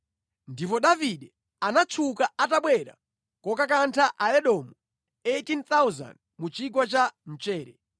Ndipo Davide anatchuka atabwera kokakantha Aedomu 18,000 mu Chigwa cha Mchere.